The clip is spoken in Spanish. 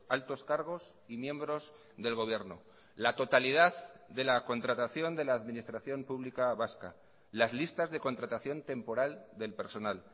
altos cargos y miembros del gobierno la totalidad de la contratación de la administración pública vasca las listas de contratación temporal del personal